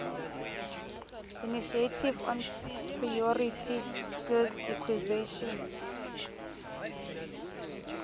initiative on priority skills acquisition